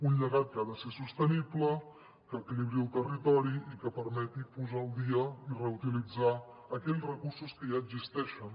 un llegat que ha de ser sostenible que equilibri el territori i que permeti posar al dia i reutilitzar aquells recursos que ja existeixen